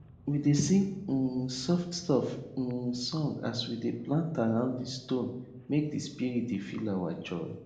we dey sing um soft soft um song as we dey plant around di stone make di spirit dey feel our joy